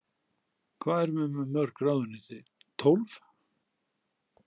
Hvað erum við með mörg ráðuneyti, tólf?